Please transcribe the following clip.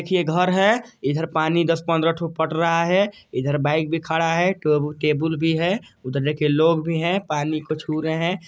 ये घर है इधर पानी दस पंद्रह ठो पट रहा है इधर बाइक भी खड़ा है के केबुल भी है ये लोग भी है पानी को छू रहे है।